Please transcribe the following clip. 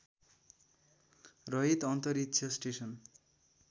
रहित अन्तरिक्ष स्टेसन